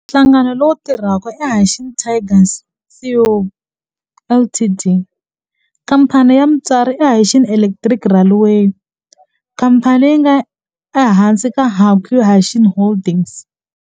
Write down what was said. Nhlangano lowu tirhaka i Hanshin Tigers Co., Ltd. Khamphani ya mutswari i Hanshin Electric Railway khamphani leyi nga ehansi ka Hankyu Hanshin Holdings.